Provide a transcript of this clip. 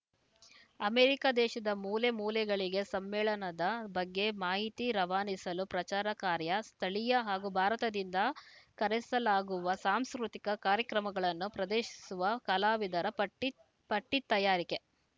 America ದೇಶದ ಮೂಲೆಮೂಲೆಗಳಿಗೆ ಸಮ್ಮೇಳನದ ಬಗ್ಗೆ ಮಾಹಿತಿ ರವಾನಿಸಲು ಪ್ರಚಾರ ಕಾರ್ಯ ಸ್ಥಳೀಯ ಹಾಗೂ ಭಾರತದಿಂದ ಕರೆಸಲಾಗುವ ಸಾಂಸ್ಕೃತಿಕ ಕಾರ್ಯಕ್ರಮಗಳನ್ನು ಪ್ರದೆಶಿಸುವ ಕಲಾವಿದರ ಪಟ್ಟಿತಯಾರಿಕೆ